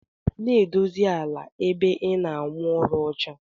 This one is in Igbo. Na edosi ala ebe ina awụ arụ ọcha.